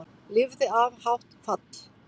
Lifði af hátt fall